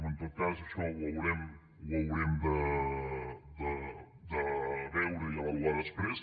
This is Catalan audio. en tot cas això ho haurem de veure i avaluar després